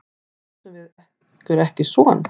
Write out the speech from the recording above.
Áttum við okkur ekki son?